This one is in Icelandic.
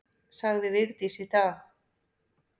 Sagði Vigdís í dag.